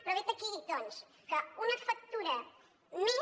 però vet aquí doncs que una factura més